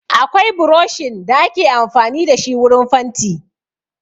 Akwai buroshin da ake amfani da shi wurin fanti.